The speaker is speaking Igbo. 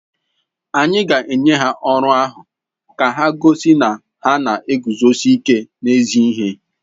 Anyị ga-enye ha ọrụ ahụ ka ha gosi na ha na-eguzosi ike n’ezi ihe.